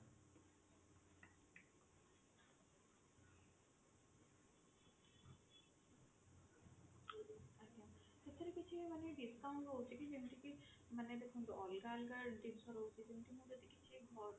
ସେଥିରେ କିଛି ମାନେ discount ରହୁଛି କି ଯେମତିକି ମାନେ ଦେଖନ୍ତୁ ଅଲଗା ଅଲଗା